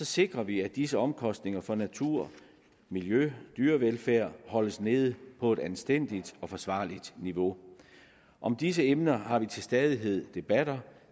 sikrer vi at disse omkostninger for natur miljø og dyrevelfærd holdes nede på et anstændigt og forsvarligt niveau og disse emner har vi til stadighed en debat om